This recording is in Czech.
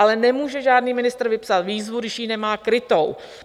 Ale nemůže žádný ministr vypsat výzvu, když ji nemá krytou.